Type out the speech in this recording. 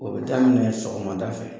O bɛ daminɛ sɔgɔmada fɛ